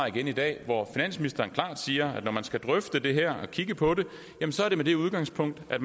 i dag hvor finansministeren klart siger at når man skal drøfte det her og kigge på det er det med udgangspunkt i at